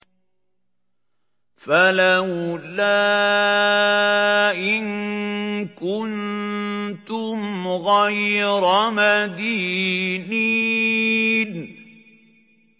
فَلَوْلَا إِن كُنتُمْ غَيْرَ مَدِينِينَ